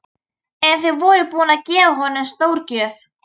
En þið voruð búin að gefa honum stórgjöf.